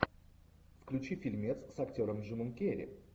включи фильмец с актером джимом керри